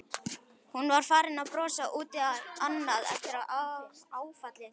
Hún var farin að brosa út í annað eftir áfallið.